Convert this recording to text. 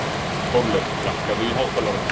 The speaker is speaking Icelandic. Þórleif, lækkaðu í hátalaranum.